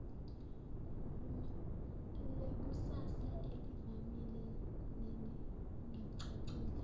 lekusasa elivamile nelingacacile